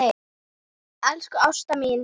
Elsku Ásta mín.